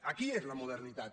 aquí és la modernitat